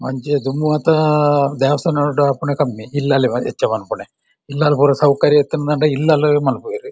ದುಂಬುಮಾತ ದೇವಸ್ಥಾನಡು ಆಪುನೆ ಕಮ್ಮಿ ಇಲ್ಲಲ್‌ ಹೆಚ್ಚು ಮಲ್ಪುನೆ ಇಲ್ಲಾಲ್‌ ಪೂರ ಸೌಕರ್ಯ ಇತ್ತ್‌ ಂಡ ಇಲ್ಲಾಲ್‌ ಮಲ್ಪುವೇರ್.